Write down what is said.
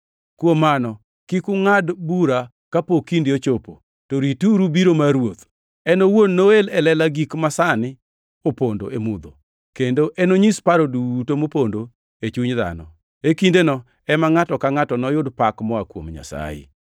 Kuom mano kik ungʼad bura kapok kinde ochopo, to rituru biro mar Ruoth. En owuon noel e lela gik masani opondo e mudho, kendo enonyis paro duto mopondo e chuny dhano. E kindeno ema ngʼato ka ngʼato noyud pak moa kuom Nyasaye.